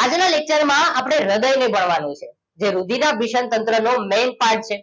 આજના lecture માં આપણે હૃદયને ભણવાનું છે જે રુધિરાભિસરણ તંત્ર નો main part છે